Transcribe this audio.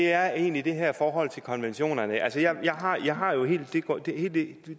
er egentlig det her forhold til konventionerne jeg har jeg har jo